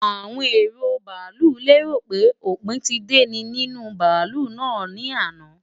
Awon ero baalu léròpé òpin ti de ni ninu baalu naa ni àná.